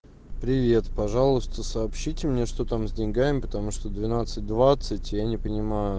привет пожалуйста сообщите мне что там с деньгами потому что двенадцать двадцать я не понимаю